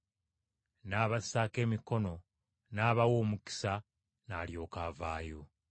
N’abassaako emikono n’abawa omukisa n’alyoka avaayo.